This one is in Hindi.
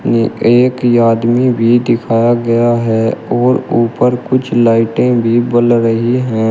एक आदमी भी दिखाया गया है और ऊपर कुछ लाइटें भी बल रही है।